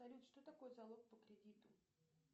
салют что такое залог по кредиту